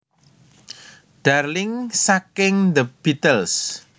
Darling saking The Beatles